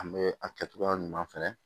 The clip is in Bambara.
An bɛ a kɛcogoya ɲuman fɛnɛ